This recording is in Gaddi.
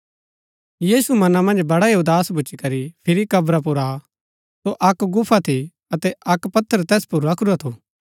यीशु मना मन्ज बडा ही उदास भूच्ची करी फिरी कब्रा पुर आ सो अक्क गुफा थी अतै अक्क पत्थर तैस पुर रखूरा थू